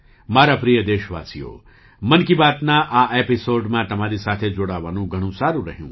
મારા પ્રિય દેશવાસીઓ 'મન કી બાત'ના આ એપિસૉડમાં તમારી સાથે જોડાવાનું ઘણું સારું રહ્યું